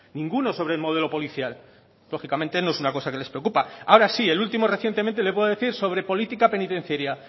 ninguno sobre el modelo policial lógicamente no es una cosa que les preocupa ahora sí el último recientemente le puedo decir sobre política penitenciaria